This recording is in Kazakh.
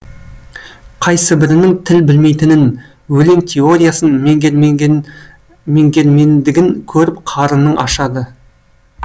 қайсыбірінің тіл білмейтінін өлең теориясын меңгермендігін көріп қарының ашады